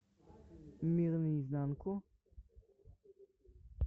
мир наизнанку